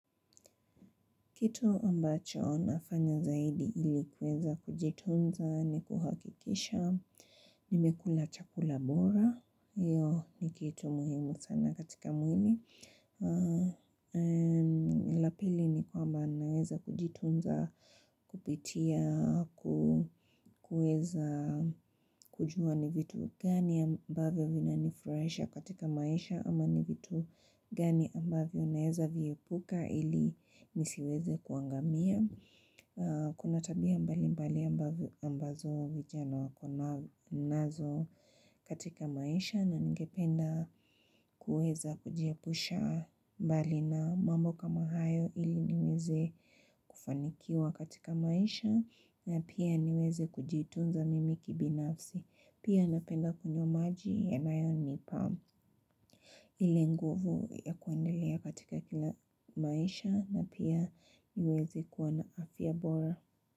Kito ambacho nafanya zaidi ili kuweza kujitunza ni kuhakikisha nimekula chakula bora. Iyo ni kitu muhimu sana katika mwil. La pili ni kwamba naweza kujitunza kupitia kuweza kujua ni vitu gani ambavyo vina nifurahisha katika maisha ama ni vitu gani ambavyo naweza viepuka ili nisiweze kuangamia. Kuna tabia mbali mbali ambazo vijana wako nazo katika maisha. Na ngependa kuweza kujiapusha mbali na mambo kama hayo ili niweze kufanikiwa katika maisha. Na pia niweze kujitunza mimi kibinafsi. Pia napenda kunywa maji yanayonipa ile nguvu ya kuendelea katika kila maisha. Na pia niweze kuwa na afya bora.